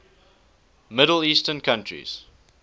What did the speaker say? middle eastern countries